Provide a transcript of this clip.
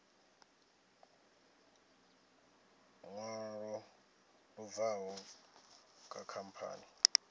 ṅwalo lu bvaho kha khamphani